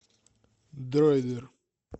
дройдер